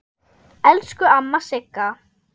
Elsku amma Sigga.